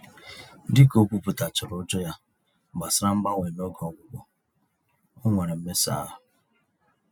Dịka ókwúpụta chárá ụjọ ya gbasara mgbanwe n'oge ọgwụgwọ, onwere mmesa-ahụ